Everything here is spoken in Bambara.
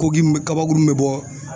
kabakurun mun be bɔ.